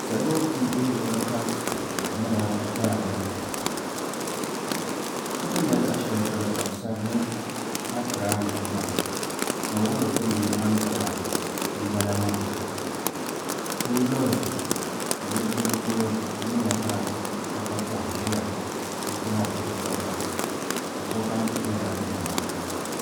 Salo n deei luɣuli kam ka di nyɛla daani ti ni nyɛ luɣu shɛli polo ka bi sabi ni akiraa niw taawn ŋo wuhuri timi ni ankara n bala maa ti yi lihi ti nudirigu polo ti ni nya ka kpakpa koha ʒiya n kohari o kpakpa ka sikam ku bɛla nimmohi ni